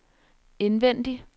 indvendig